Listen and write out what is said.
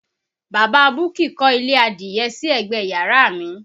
Bàbá Buki kọ́ ilé adìye sí ẹ̀gbẹ yàrá mi